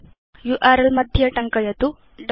URL bar मध्ये टङ्कयतु wwwgooglecom